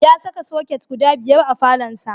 Ya saka soket guda biyar a falonsa.